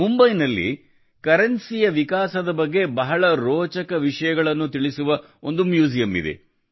ಮುಂಬೈನಲ್ಲಿ ಕರೆನ್ಸಿಯ ವಿಕಾಸದ ಬಗ್ಗೆ ಬಹಳ ರೋಚಕ ವಿಷಯವನ್ನು ನೀಡುವ ಒಂದು ಮ್ಯೂಸಿಯಂ ಇದೆ